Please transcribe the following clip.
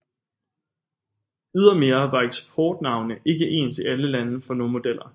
Ydermere var eksportnavne ikke ens i alle lande for nogle modeller